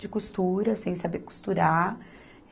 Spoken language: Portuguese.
de costura, sem saber costurar.